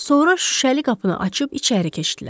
Sonra şüşəli qapını açıb içəri keçdilər.